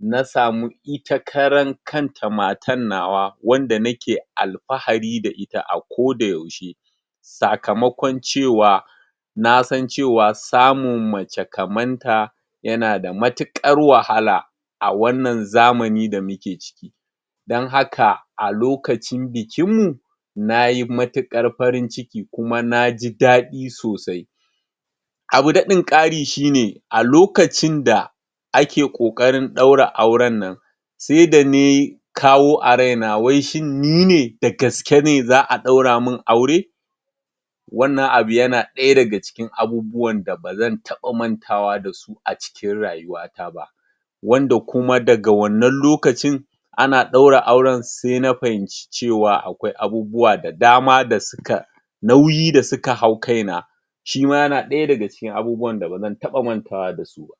na samu ita karan kanta matan nawa wanda nake alfahari da ita a koda yaushe sakamakon cewa nasan cewa samun mace kamanta yana da matuƙar wahala a wannan zamani da muke ciki. don haka, a lokacin bikin mu nayi matuƙar farin ciki kuma naji daɗi sosai abu daɗin ƙari shine a lokacin da ake ƙoƙarin ɗaura auren nan saida nai kawo a raina waishin nine dagaske ne za'a ɗaura min aure wannan abu yana ɗaya daga cikin abubuwan da bazan taɓa mantawa dasu a cikin rayuwa na ba wanda kuma daga wannan lokacin ana ɗaura auren sai na fahimci cewa akwai abubuwa da dama da suka nauyi da suka hau kaina shima yana ɗaya daga cikin abubuwan da bazan taɓa iya mantawa dasu ba.